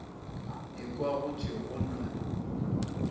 ekwa go thwe go na